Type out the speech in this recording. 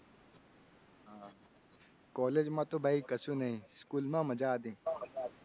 College માં તો ભાઈ કછુ નહિ school માં મજા હતી.